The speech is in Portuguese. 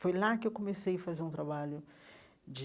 Foi lá que eu comecei a fazer um trabalho de...